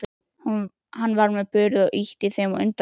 Hann var með börur og ýtti þeim á undan sér.